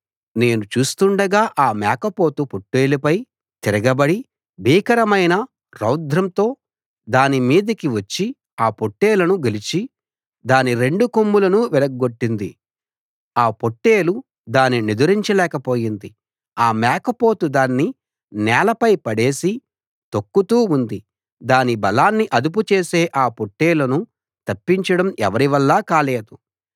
నేను చూస్తుండగా ఆ మేకపోతు పొట్టేలుపై తిరగబడి భీకరమైన రౌద్రంతో దాని మీదికి వచ్చి ఆ పొట్టేలును గెలిచి దాని రెండు కొమ్ములను విరగ్గొట్టింది ఆ పొట్టేలు దాని నెదిరించలేక పోయింది ఆ మేకపోతు దాన్ని నేలపై పడేసి తొక్కుతూ ఉంది దాని బలాన్ని అదుపు చేసి ఆ పొట్టేలును తప్పించడం ఎవరివల్లా కాలేదు